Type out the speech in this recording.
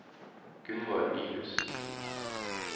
Gunnvor Nyhus